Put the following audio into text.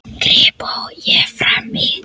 gríp ég fram í.